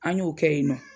An y'o kɛ yen nɔ